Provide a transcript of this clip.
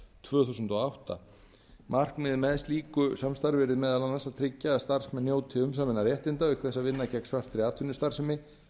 tvö þúsund og átta markmiðið með slíku samstarfi yrði meðal annars að tryggja að starfsmenn njóti umsaminna réttinda auk þess að vinna gegn svartri atvinnustarfsemi